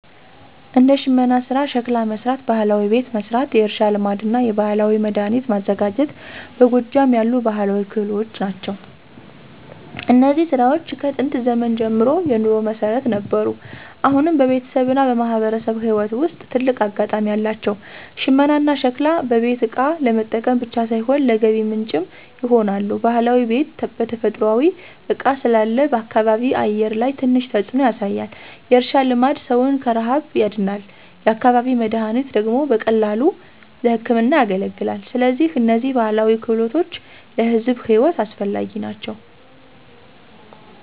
እንደ ሽመና ሥራ፣ ሸክላ መሥራት፣ ባህላዊ ቤት መሥራት፣ የእርሻ ልማድና የባህላዊ መድኃኒት ማዘጋጀት በጎጃም ያሉ ባህላዊ ክህሎት ናቸው። እነዚህ ሥራዎች ከጥንት ዘመን ጀምሮ የኑሮ መሠረት ነበሩ፣ አሁንም በቤተሰብና በማህበረሰብ ሕይወት ውስጥ ትልቅ አጋጣሚ አላቸው። ሽመናና ሸክላ በቤት እቃ ለመጠቀም ብቻ ሳይሆን ለገቢ ምንጭም ይሆናሉ። ባህላዊ ቤት በተፈጥሯዊ እቃ ስላለ በአካባቢ አየር ላይ ትንሽ ተጽዕኖ ያሳያል። የእርሻ ልማድ ሰውን ከረሃብ ያድናል፤ የአካባቢ መድኃኒት ደግሞ በቀላሉ ለሕክምና ያገለግላል። ስለዚህ እነዚህ ባህላዊ ክህሎቶች ለሕዝብ ሕይወት አስፈላጊ ናቸው።